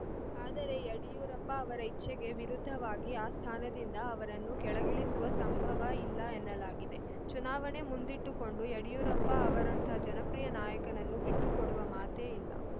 ಆದರೆ ಯಡಿಯೂರಪ್ಪ ಅವರ ಇಚ್ಛೆಗೆ ವಿರುದ್ಧವಾಗಿ ಆ ಸ್ಥಾನದಿಂದ ಅವರನ್ನು ಕೆಳಗಿಳಿಸುವ ಸಂಭವ ಇಲ್ಲ ಎನ್ನಲಾಗಿದೆ ಚುನಾವಣೆ ಮುಂದಿಟ್ಟುಕೊಂಡು ಯಡಿಯೂರಪ್ಪ ಅವರಂಥ ಜನಪ್ರಿಯ ನಾಯಕನನ್ನು ಬಿಟ್ಟು ಕೊಡುವ ಮಾತೇ ಇಲ್ಲ